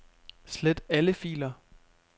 Slet alle filer.